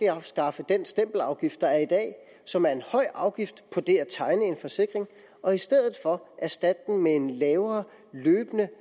at afskaffe den stempelafgift der er i dag som er en høj afgift på det at tegne en forsikring og i stedet for erstatter den med en lavere løbende